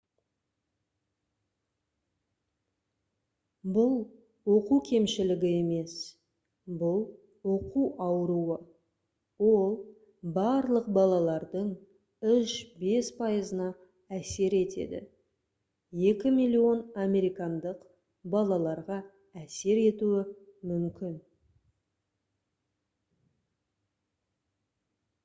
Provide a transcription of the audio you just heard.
бұл оқу кемшілігі емес бұл оқу ауруы. ол «барлық балалардың 3-5 пайызына әсер етеді 2 миллион американдық балаларға әсер етуі мүмкін»